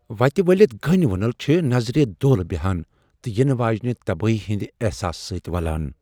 وتہ ولِتھ گٔنۍ وُنل چھےٚ نظرِ دولہٕ بیہان تہ ینہٕ واجینہِ تبٲہی ہندِ احساس سۭتۍ ولان ۔